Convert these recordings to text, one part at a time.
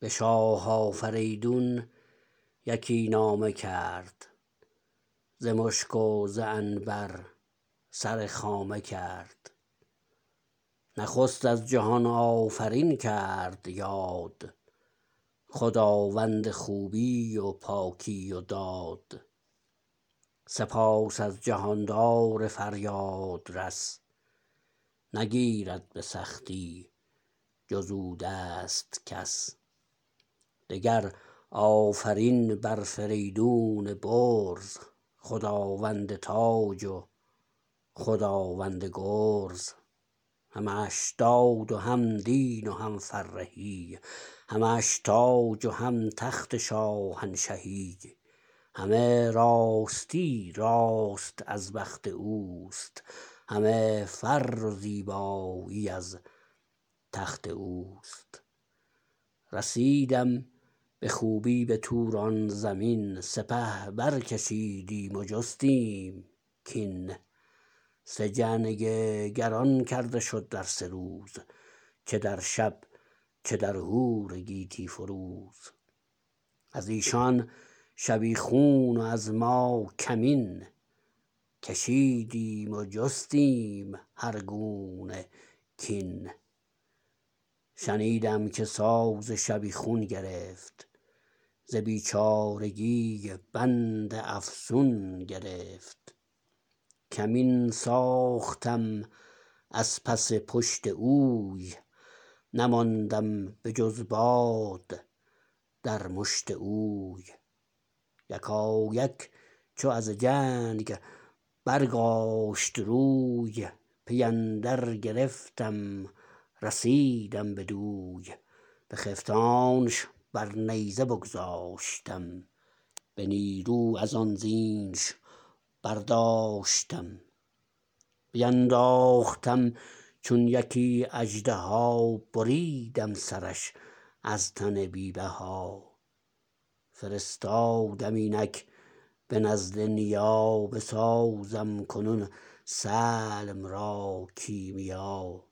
به شاه آفریدون یکی نامه کرد ز مشک و ز عنبر سر خامه کرد نخست از جهان آفرین کرد یاد خداوند خوبی و پاکی و داد سپاس از جهاندار فریادرس نگیرد به سختی جز او دست کس دگر آفرین بر فریدون برز خداوند تاج و خداوند گرز همش داد و هم دین و هم فرهی همش تاج و هم تخت شاهنشهی همه راستی راست از بخت اوست همه فر و زیبایی از تخت اوست رسیدم به خوبی بتوران زمین سپه برکشیدیم و جستیم کین سه جنگ گران کرده شد در سه روز چه در شب چه در هور گیتی فروز از ایشان شبیخون و از ماکمین کشیدیم و جستیم هر گونه کین شنیدم که ساز شبیخون گرفت ز بیچارگی بند افسون گرفت کمین ساختم از پس پشت اوی نماندم به جز باد در مشت اوی یکایک چو از جنگ برگاشت روی پی اندر گرفتم رسیدم بدوی بخفتانش بر نیزه بگذاشتم به نیرو ازان زینش برداشتم بینداختم چون یکی اژدها بریدم سرش از تن بی بها فرستادم اینک به نزد نیا بسازم کنون سلم را کیمیا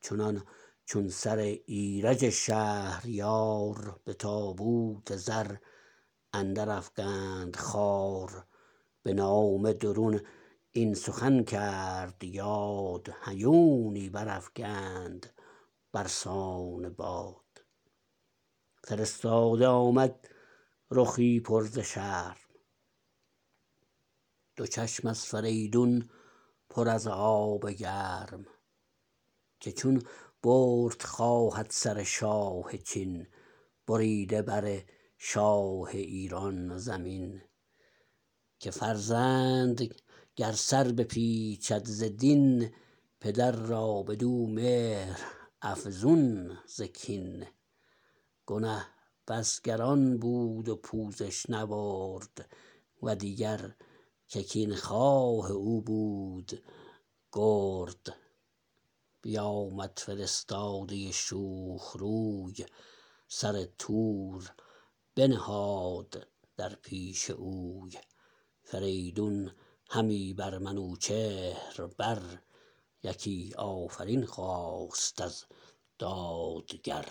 چنان چون سر ایرج شهریار به تابوت زر اندر افگند خوار به نامه درون این سخن کرد یاد هیونی برافگند برسان باد فرستاده آمد رخی پر ز شرم دو چشم از فریدون پر از آب گرم که چون برد خواهد سر شاه چین بریده بر شاه ایران زمین که فرزند گر سر بپیچید ز دین پدر را بدو مهر افزون ز کین گنه بس گران بود و پوزش نبرد و دیگر که کین خواه او بود گرد بیامد فرستاده شوخ روی سر تور بنهاد در پیش اوی فریدون همی بر منوچهر بر یکی آفرین خواست از دادگر